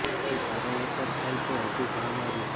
જો સારો વરસાદ થાય તો હજુ ભાવમાં રૂ